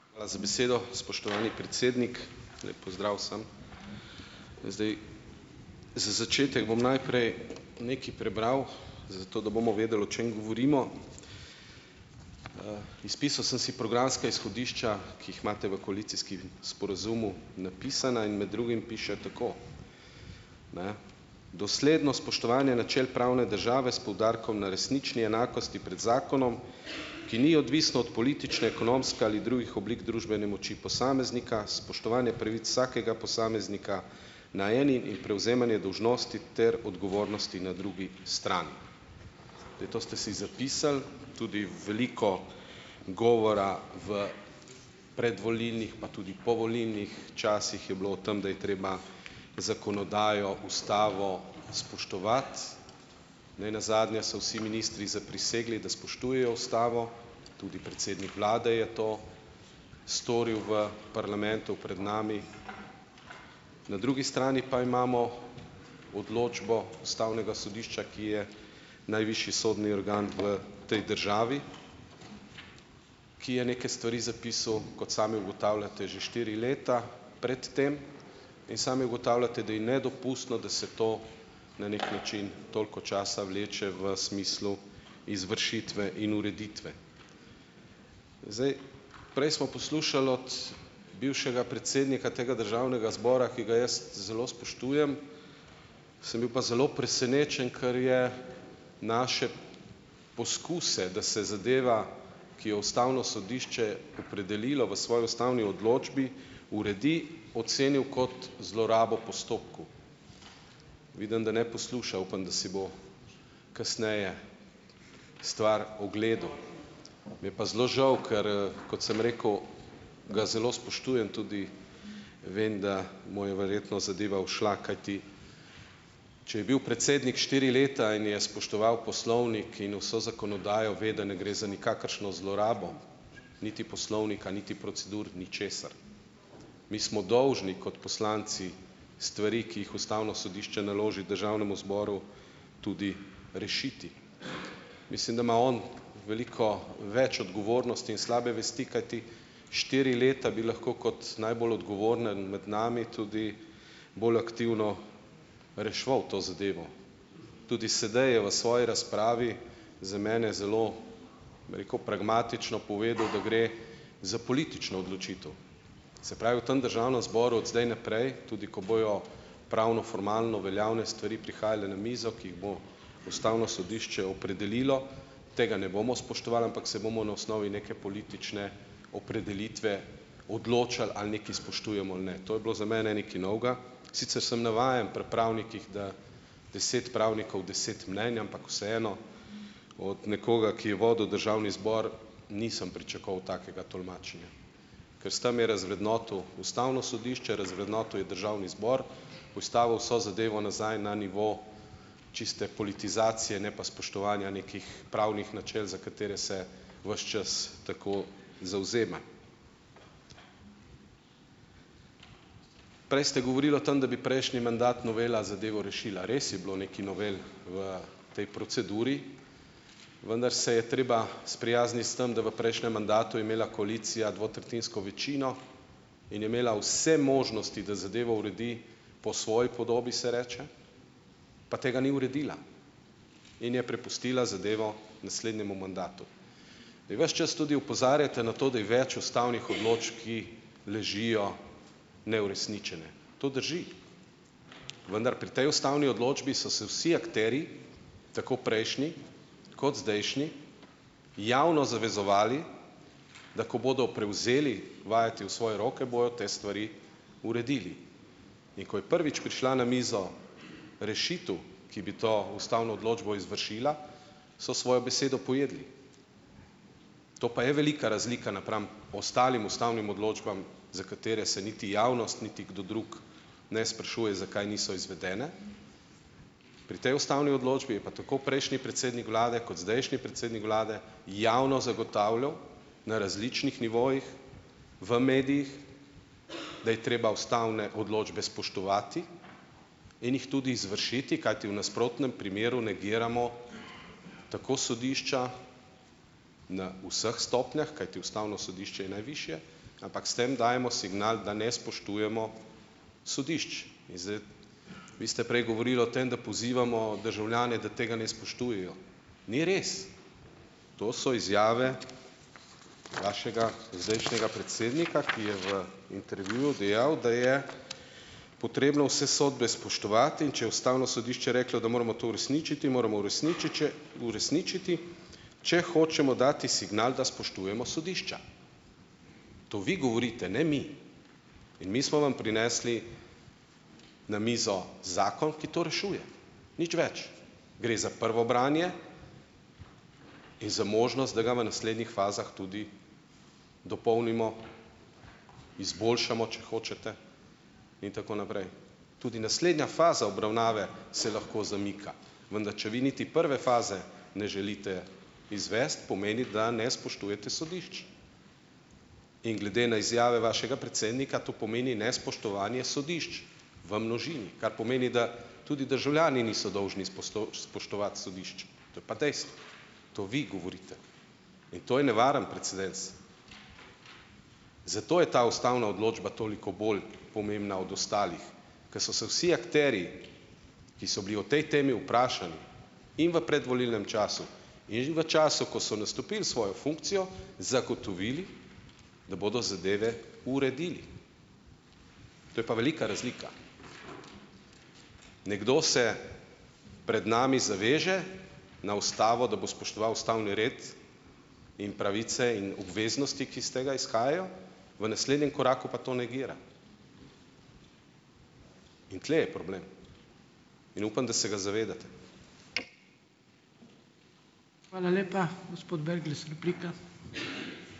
Hvala za besedo, spoštovani predsednik. Lep pozdrav vsem! Zdaj ... Za začetek bom najprej nekaj prebral, zato da bomo vedeli, o čem govorimo. Izpisal sem si programska izhodišča, ki jih imate v koalicijskih sporazumu napisana, in med drugim piše tako, ne: "Dosledno spoštovanje načel pravne države s poudarkom na resnični enakosti pred zakonom, ki ni odvisno od politične, ekonomske ali drugih oblik družbene moči posameznika, spoštovanje pravic vsakega posameznika na eni in prevzemanje dolžnosti ter odgovornosti na drugi strani." Zdaj, to ste si zapisali. Tudi veliko govora v predvolilnih pa tudi povolilnih časih je bilo o tem, da je treba zakonodajo, ustavo spoštovati. Ne nazadnje so vsi ministri zaprisegli, da spoštujejo ustavo, tudi predsednik vlade je to storil v parlamentu pred nami. Na drugi strani pa imamo odločbo ustavnega sodišča, ki je najvišji sodni organ v tej državi, ki je neke stvari zapisal, kot sami ugotavljate, že štiri leta pred tem in sami ugotavljate, da je nedopustno, da se to na neki način toliko časa vleče v smislu izvršitve in ureditve. Zdaj ... Prej smo poslušali od bivšega predsednika tega državnega zbora, ki ga jaz zelo spoštujem, sem bil pa zelo presenečen, ker je naše poskuse, da se zadeva, ki jo ustavno sodišče opredelilo v svoji ustavni odločbi, uredi, ocenil kot zlorabo postopkov. Vidim, da ne posluša. Upam, da si bo kasneje stvar ogledal. Mi je pa zelo žal, ker, kot sem rekel, ga zelo spoštujem, tudi vem, da mu je verjetno zadeva šla, kajti če je bil predsednik štjri leta in je spoštoval poslovnik in vso zakonodajo, ve, da ne gre za nikakršno zlorabo, niti poslovnika niti procedur, ničesar. Mi smo dolžni kot poslanci stvari, ki jih ustavno sodišče naloži državnemu zboru, tudi rešiti. Mislim, da ima on veliko več odgovornosti in slabe vesti, kajti štiri leta bi lahko kot najbolj odgovoren med nami tudi bolj aktivno reševal to zadevo. Tudi sedaj je v svoji razpravi za mene zelo, bi rekel, pragmatično povedal, da gre za politično odločitev. Se pravi, v tem državnem zboru od zdaj naprej, tudi ko bojo pravnoformalno veljavne stvari prihajale na mizo, ki jih bo ustavno sodišče opredelilo, tega ne bomo spoštovali, ampak se bomo na osnovi neke politične opredelitve odločali, ali nekaj spoštujemo ali ne. To je bilo zame nekaj novega. Sicer sem navajen pri pravnikih, da deset pravnikov, deset mnenj, ampak vseeno, od nekoga, ki je vodil državni zbor, nisem pričakoval takega tolmačenja, kar s tam je razvrednotil ustavno sodišče, razvrednotil je državni zbor, postavil vso zadevo nazaj na nivo čiste politizacije, ne pa spoštovanja nekih pravnih načel, za katera se ves čas tako zavzema. Prej ste govorili o tem, da bi prejšnji mandat novela zadevo rešila. Res je bilo nekaj novel v tej proceduri, vendar se je treba sprijazniti s tem, da v prejšnjem mandatu je imela koalicija dvotretjinsko večino in je imela vse možnosti, da zadevo uredi po svoji podobi, se reče, pa tega ni uredila in je prepustila zadevo naslednjemu mandatu. Zdaj, ves čas tudi opozarjate na to, da je več ustavnih odločb, ki ležijo neuresničene. To drži, vendar pri tej ustavni odločbi so se vsi akterji, tako prejšnji kot zdajšnji, javno zavezovali, da ko bodo prevzeli vajeti v svoje roke, bojo te stvari uredili. In ko je prvič prišla na mizo rešitev, ki bi to ustavno odločbo izvršila, so svojo besedo pojedli. To pa je velika razlika napram ostalim ustavnim odločbam za katere se niti javnost niti kdo drug ne sprašuje, zakaj niso izvedene, pri tej ustavni odločbi je pa tako prejšnji predsednik vlade kot zdajšnji predsednik vlade javno zagotavljal, na različnih nivojih, v medijih, da je treba ustavne odločbe spoštovati in jih tudi izvršiti, kajti v nasprotnem primeru negiramo tako sodišča na vseh stopnjah, kajti ustavno sodišče je najvišje, ampak s tem dajemo signal, da ne spoštujemo sodišč. In zdaj ... Vi ste prej govorili o tam, da pozivamo državljane, da tega ne spoštujejo. Ni res. To so izjave vašega zdajšnjega predsednika, ki je v intervjuju dejal, da je potrebno vse sodbe spoštovati, in če je ustavno sodišče reklo, da moramo to uresničiti, moramo uresničiti, če hočemo dati signal, da spoštujemo sodišča. To vi govorite, ne mi. In mi smo vam prinesli na mizo zakon, ki to rešuje. Nič več. Gre za prvo branje in za možnost, da ga v naslednjih fazah tudi dopolnimo, izboljšamo, če hočete, in tako naprej. Tudi naslednja faza obravnave se lahko zamika, vendar če vi niti prve faze ne želite izvesti, pomeni, da ne spoštujete sodišč. In glede na izjave vašega predsednika to pomeni nespoštovanje sodišč, v množini, kar pomeni, da tudi državljani niso dolžni spoštovati sodišč. To je pa dejstvo. To vi govorite. In to je nevaren precedens. Zato je ta ustavna odločba toliko bolj pomembna od ostalih, ko so se vsi akterji, ki so bili o tej temi vprašani in v predvolilnem času in že v času, ko so nastopil svojo funkcijo, zagotovili, da bodo zadeve uredili. To je pa velika razlika. Nekdo se pred nami zaveže, na ustavo, da bo spoštoval ustavni red in pravice in obveznosti, ki iz tega izhajajo, v naslednjem koraku pa to negira. In tule je problem in upam, da se ga zavedate.